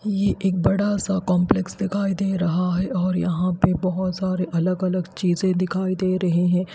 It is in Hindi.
ये एक बड़ा सा कॉम्प्लेक्स दिखाई दे रहा है और यहाँ पे बहोत सारे अलग अलग चीजें दिखाई दे रही हैं।